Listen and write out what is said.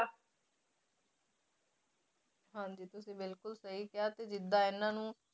ਹਾਂਜੀ ਤੁਸੀਂ ਬਿਲਕੁਲ ਸਹੀ ਕਿਹਾ ਤੇ ਜਿੱਦਾਂ ਇਹਨਾਂ ਨੂੰ